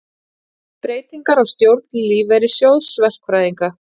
Breytingar á stjórn Lífeyrissjóðs verkfræðinga